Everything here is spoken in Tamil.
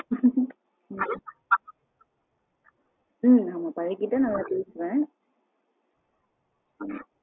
ஹம் ஆமா பழகிட்டா நல்லா பேசுவேன்.